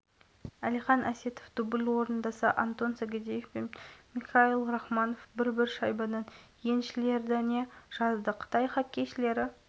гренц владислав никулин артем бурделев кирилл савицкий және мадияр ыбрайбеков шайба соғып мергендігімен көзге түсті